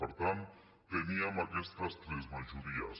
per tant teníem aquestes tres majories